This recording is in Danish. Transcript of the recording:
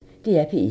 DR P1